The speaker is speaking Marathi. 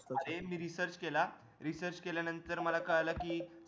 अरे मी research केला research केल्या नंतर मला कळालं कि